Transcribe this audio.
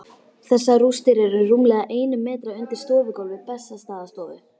Þessar rústir eru rúmlega einum metra undir stofugólfi Bessastaðastofu.